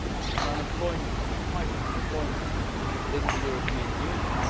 on employment and on fighting unemployment in the European Union.